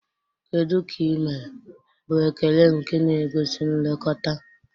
Kedu ka ị mere?" bụ ekele nke na-egosi nlekọta.